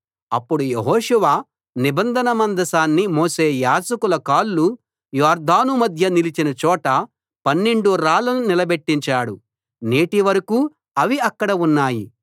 అప్పుడు యెహోషువ నిబంధన మందసాన్ని మోసే యాజకుల కాళ్లు యొర్దాను మధ్య నిలిచిన చోట పన్నెండు రాళ్లను నిలబెట్టించాడు నేటి వరకూ అవి అక్కడ ఉన్నాయి